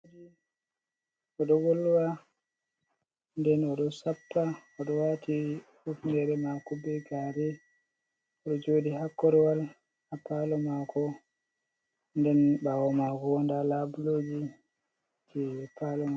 Odo volwa den oɗo sappa, oɗo wati hufnere mako be gare, odo jodi ha koru wal ha palo mako, den bawo mako nda labuleji je palo Maa.